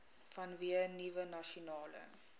vanweë nuwe nasionale